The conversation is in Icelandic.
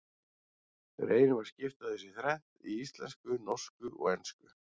Við reynum að skipta þessu í þrennt, í íslensku, norsku og ensku.